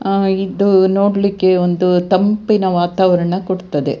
ಆಹ್ಹ್ ಇದು ನೋಡ್ಲಿಕ್ಕೆ ಒಂದು ತಂಪಿನ ವಾತಾವರಣ ಹುಟ್ಟುತ್ತದೆ.